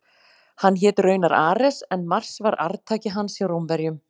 Hann hét raunar Ares en Mars var arftaki hans hjá Rómverjum.